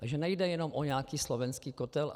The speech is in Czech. Takže nejde jenom o nějaký slovenský kotel.